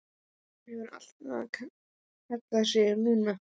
Já, hún hefur alltaf kallað sig Lúnu.